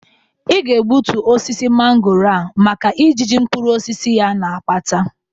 Ị ga-ebutu osisi mangooro a maka ijiji mkpuruosisi ya na-akpata.